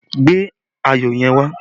Gbe ayọ̀ yẹn wá!